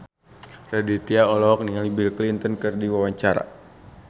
Raditya Dika olohok ningali Bill Clinton keur diwawancara